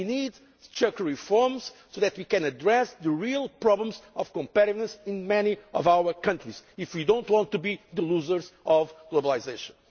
We need structural reforms so that we can address the real problems of competitiveness in many of our countries if we do not want to be losers of globalisation.